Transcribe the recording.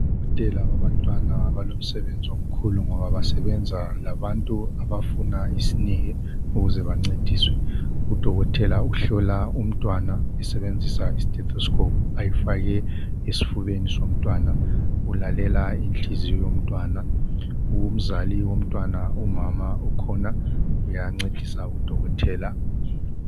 Odokotela babantwana balomsebenzi omkhulu, ngoba basebenza labantu abafuna isineke ukuze bancediswe. Udokotela uhlola umntwana esebenzisa istethoscope, ayifake esifubeni somntwana. Ulalela inhliziyo yomntwana.. Umzali womntwana, umama ukhona. Uyancedisa udokotela.,